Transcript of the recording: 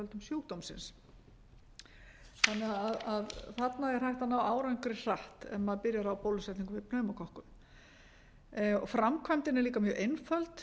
sjúkdómsins þarna er því hægt að ná árangri hratt ef maður byrjar á bólusetningu við pneumókokkum framkvæmdin er líka mjög einföld